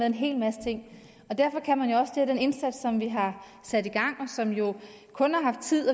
en hel masse ting og derfor kan man jo også at den indsats som vi har sat i gang og som jo kun har haft tid